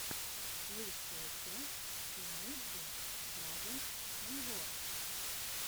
лучшая часть имейджин драгонс виво